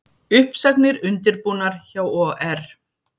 Uppsagnir undirbúnar hjá OR